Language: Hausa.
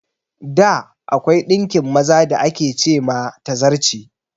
Da, akwai ɗinkin maza da ake ce ma "Tazarce".